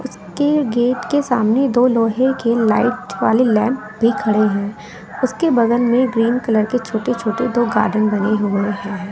उसके गेट के सामने दो लोहे के लाइट वाली लैंप भी खड़े हैं उसके बगल में ग्रीन कलर के छोटे छोटे दो गार्डन बने हुए है।